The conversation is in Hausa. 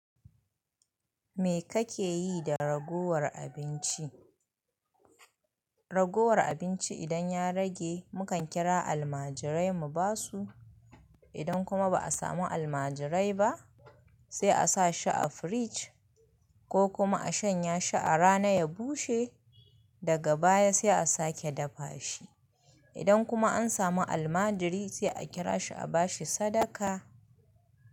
Me kake yi da raguwar abinci? Raguwar abinci idan ya rage mukan kira almajirai mu ba su. Idan kuma ba a samu almajirai ba sai a sa shi a firij ko kuma a shanya shi a rana ya bushe daga baya sai a sake dafa shi. Idan kuma an samu almajiri sai a kira shi a ba shi sadaka.